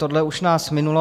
Tohle už nás minulo.